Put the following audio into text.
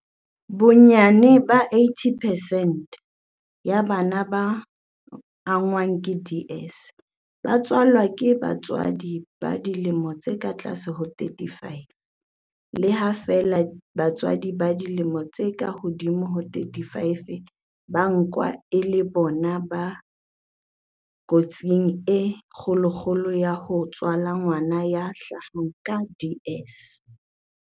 Bonyane 80 percent ya bana ba angwang ke DS ba tswalwa ke bomme ba dilemo tse ka tlase ho 35, le ha feela basadi ba dilemo tse ka hodimo ho 35 ba nkwa e le bona ba kotsing e kgolokgolo ya ho tswala ngwana ya hlahang ka DS.